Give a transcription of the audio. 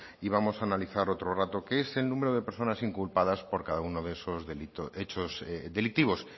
y vamos a analizar otro rato que es el número de personas inculpados por cada uno de esos hechos delictivos